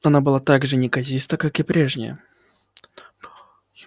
она была так же неказиста как и прежняя